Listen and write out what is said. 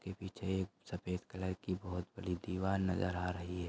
के पीछे एक सफेद कलर की बहुत बड़ी दीवार नजर आ रही है।